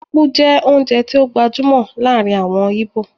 Ápú jẹ́ oúnjẹ tó gbajúmọ̀ láàrin àwọn íbò